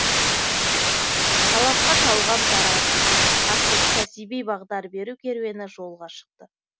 талапқа талғам таразы атты кәсіби бағдар беру керуені жолға шықты